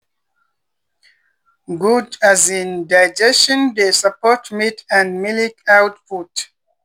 good um digestion dey support meat and milk output.